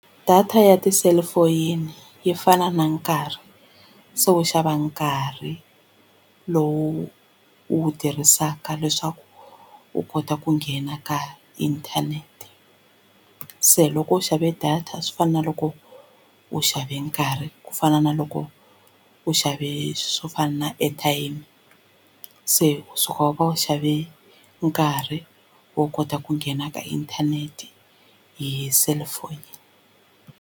Data ya tiselifoyini yi fana na nkarhi se wu xava nkarhi lowu wu tirhisaka leswaku u kota ku nghena ka inthanete se loko u xave data swi fana na loko u xave nkarhi ku fana na loko u xave swo fana na airtime se u suka u va u xave nkarhi wo kota ku nghena ka inthanete hi cellphone.